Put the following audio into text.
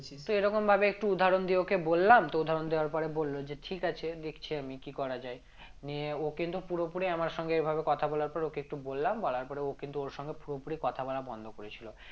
তো এরকম ভাবে একটু উদাহরণ দিয়ে ওকে বললাম তো উদাহরণ দেওয়ার পরে বলল যে ঠিক আছে দেখছি আমি কি করা যায় নিয়ে ও কিন্তু পুরোপুরি আমার সঙ্গে এভাবে কথা বলার পর ওকে একটু বললাম বলার পরে ও কিন্তু ওর সঙ্গে পুরোপুরি কথা বলা বন্ধ করেছিল